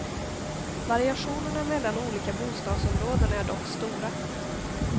Variationerna mellan olika bostadsområden är dock stora.